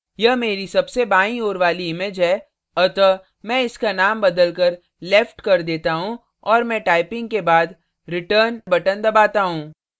यह मेरी सबसे बाईं ओर वाली image है अतः मैं इसका नाम बदलकर left left कर देता हूँ और मैं typing के बाद return/enter बटन दबाता हूँ